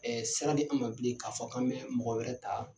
Ɛɛ sira di an ma bilen ka fɔ k'an bɛ mɔgɔ wɛrɛ ta